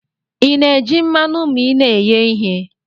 Ina eji mmanu ma ina eghe ihe?